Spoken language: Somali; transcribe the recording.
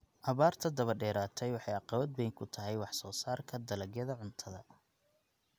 Abaarta daba dheeraatay waxay caqabad weyn ku tahay wax soo saarka dalagyada cuntada.